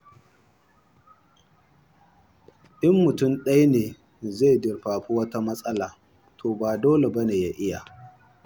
In mutum ɗaya ne zai durfafi wata matsalar, to ba dole ba ne ya iya.